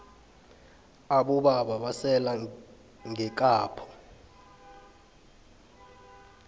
aboba basela ngekapho